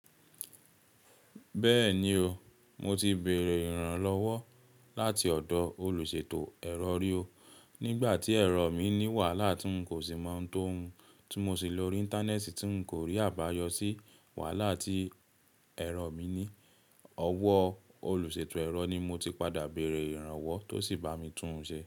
Bẹ́ẹ̀ni o, mo ti bèrè ìrànlọ́wọ́ láti ọ̀dọ̀ olùṣètò ẹ̀rọ ri o, nígbà tí ẹ̀rọ mi ní wàhálà tí n kò sì mọ̀ tó mu, tí mo sì lòrí íńtánẹ́ẹ̀tì tí n kò rí àbáyọ sí wàhálà tí ẹ̀rọ mi ní. Ọwọ́ olùṣètò ẹ̀rọ ni mo ti padà bèrè ìrànwọ́ tó sì bá mi tún un ṣe.